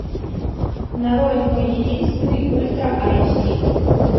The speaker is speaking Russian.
нарой мой единственный ультра айч ди